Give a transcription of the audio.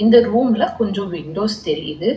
இந்த ரூம்ல கொஞ்சோ விண்டோஸ் தெரியுது.